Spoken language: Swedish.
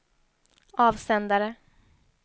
avsändare